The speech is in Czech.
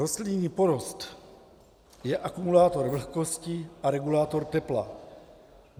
Rostlinný porost je akumulátor vlhkosti a regulátor tepla.